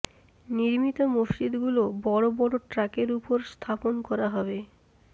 নির্মিত মসজিদগুলো বড় বড় ট্রাকের ওপর স্থাপন করা হবে